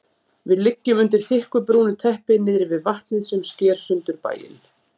Við liggjum undir þykku brúnu teppi niðri við vatnið sem sker sundur bæinn.